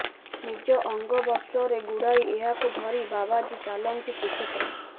ନିଜ ଅଙ୍ଗବସ୍ତ୍ରରେ ଗୁଡ଼ାଇ ଏହାକୁ ଧରି ବାବାଜୀ ଚାଲନ୍ତି ଶ୍ରୀକ୍ଷେତ୍ର